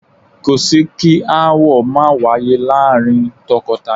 Kò sí kí aáwọ̀ máa wáyé láàárín tọkọtaya